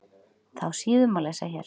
Þá síðu má lesa hér.